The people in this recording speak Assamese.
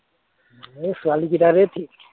এৰ ছোৱালীবিলাকেই ঠিক